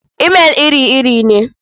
Imail iri-iri ne.